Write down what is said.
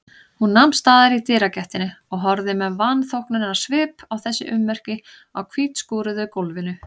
Hún nam staðar í dyragættinni og horfði með vanþóknunarsvip á þessi ummerki á hvítskúruðu gólfinu.